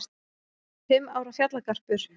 Fimm ára fjallagarpur